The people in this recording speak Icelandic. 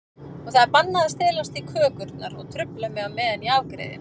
Og það er bannað að stelast í kökurnar og trufla mig á meðan ég afgreiði.